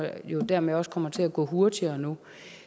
det jo dermed også kommer til at gå hurtigere nu